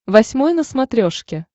восьмой на смотрешке